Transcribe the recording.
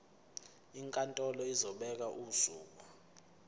inkantolo izobeka usuku